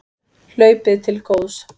Hlaupið til góðs